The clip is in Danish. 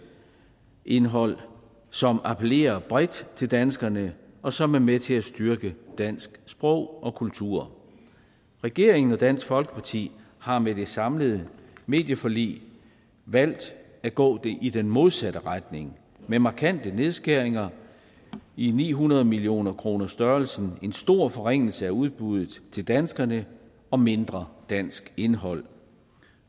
indhold som appellerer bredt til danskerne og som er med til at styrke dansk sprog og kultur regeringen og dansk folkeparti har med det samlede medieforlig valgt at gå i den modsatte retning med markante nedskæringer i ni hundrede millioner kroners størrelsen en stor forringelse af udbuddet til danskerne og mindre dansk indhold